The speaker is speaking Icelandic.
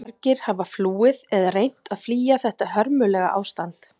Margir hafa flúið eða reynt að flýja þetta hörmulega ástand.